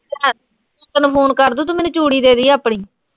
ਤੈਨੂੰ ਫੋਨ ਕਰਦੂੰ, ਤੂੰ ਮੈਨੂੰ ਚੂੜੀ ਦੇ ਦਈਂ ਆਪਣੀ।